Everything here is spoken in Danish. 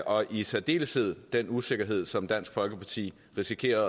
og i særdeleshed den usikkerhed som dansk folkeparti risikerer